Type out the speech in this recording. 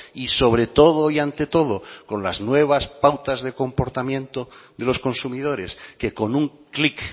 y sobre todo y ante todo con las nuevas pautas de comportamiento de los consumidores que con un clic